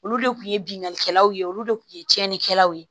Olu de kun ye binnkannikɛlaw ye olu de kun ye tiɲɛnikɛlaw ye